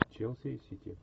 челси и сити